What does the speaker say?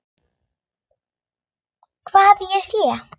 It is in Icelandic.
Hvar ég sé.